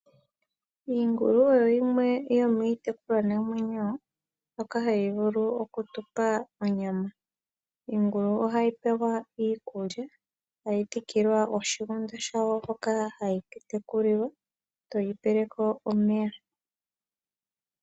Iingulu oyo yimwe yo miitekulwa namwenyo mbyoka ha yi vulu oku tu pa onyama. Iingulu ohayi pewa iikulya, tayi dhikilwa oshigunda shawo hoka hayi tekulilwa to yi pele ko omeya.